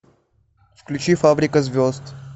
включи фабрика звезд